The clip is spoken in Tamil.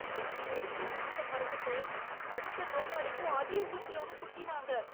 நர்ஸ் ஊசிய மாத்த மறந்துட்டு அடுத்த நோயாளிக்கும் அதே ஊசியால குத்தினாங்க.